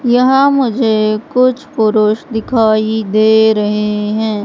यहां मुझे कुछ पुरुष दिखाई दे रहे हैं।